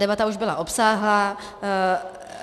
Debata už byla obsáhlá.